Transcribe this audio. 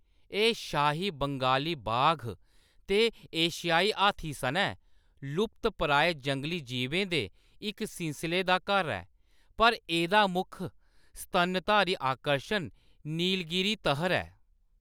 एह्‌‌ शाही बंगाली बाघ ते एशियाई हाथी सनै लुप्तप्राय जंगली जीबें दे इक सिलसले दा घर ऐ, पर एह्‌‌‌दा मुक्ख स्तनधारी आकर्शन नीलगिरी तहर ऐ।